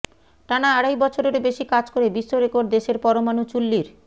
টানা আড়াই বছরেরও বেশি কাজ করে বিশ্বরেকর্ড দেশের পরমাণু চুল্লির